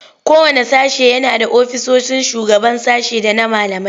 Kowanne sashe yana da ofisoshin shugaban sashe da na malamai.